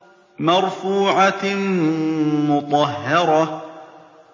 مَّرْفُوعَةٍ مُّطَهَّرَةٍ